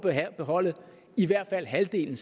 at beholde i hvert fald halvdelen